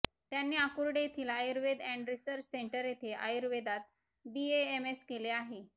त्यांनी आकुर्डी येथील Ayurved and research centre येथे आयुर्वेदात बीएएमएस केले आहे